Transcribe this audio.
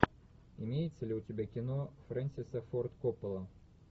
имеется ли у тебя кино френсиса форд коппола